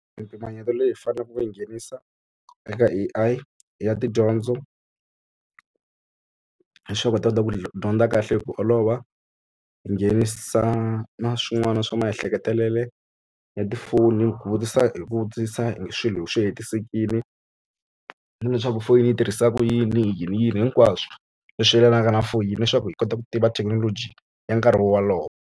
Mimpimanyeto leyi faneleke ku yi nghenisa eka A_I i ya tidyondzo leswaku u ta kota ku dyondza kahle hi ku olova hi nghenisa na swin'wana swa maehleketelele ya tifoni hi ku vutisa hi ku vutisa hi swilo swi hetisekile hileswaku foyini yi tirhisa ku yini yini yini hinkwaswo leswi yelanaka na foyini leswaku hi kota ku tiva thekinoloji ya nkarhi wolowo.